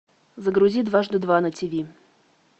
загрузи дважды два на тв